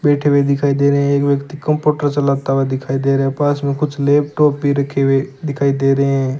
बैठे हुए दिखाई दे रहे हैं एक व्यक्ति कंप्यूटर चलाता हुआ दिखाई दे रहा है पास में कुछ लैपटॉप भी रखे हुए दिखाई दे रहे हैं।